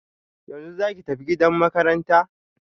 Yanzu zaki tafi gidan makaranta?